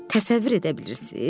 Təsəvvür edə bilirsiz?